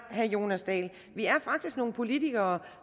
herre jonas dahl vi er faktisk nogle politikere